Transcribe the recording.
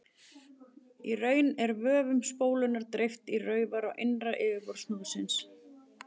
Í raun er vöfum spólunnar dreift í raufar á innra yfirborði snúðsins.